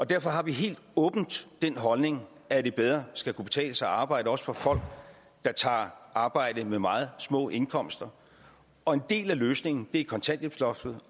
derfor har vi helt åbent den holdning at det bedre skal kunne betale sig at arbejde også for folk der tager arbejde med meget små indkomster og en del af løsningen er kontanthjælpsloftet